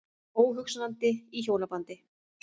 Óhugsandi í hjónabandi.